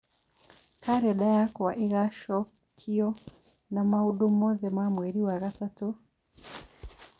Kalenda yakwa ĩgaacokio na maũndũ mothe ma mweri wa gatatũ cia rccg